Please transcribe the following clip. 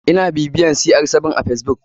Ina bibiyar cr7 a facebook.